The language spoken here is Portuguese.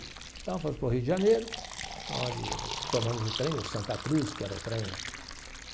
Então, fomos para o Rio de Janeiro, onde tomamos o trem, o Santa Cruz, que era o trem.